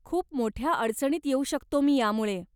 खूप मोठ्या अडचणीत येऊ शकतो मी यामुळे.